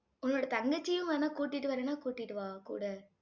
உன்னோட தங்கச்சியும் வேணா கூட்டிட்டு வரணும்னா கூட்டிட்டு வா கூட